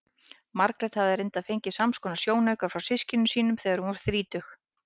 Margrét hafði reyndar fengið samskonar sjónauka frá systkinum sínum þegar hún varð þrítug.